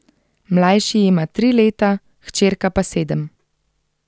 Mlajši ima tri leta, hčerka pa sedem.